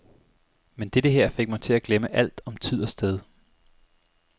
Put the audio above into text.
Men dette her fik mig til at glemme alt om tid og sted.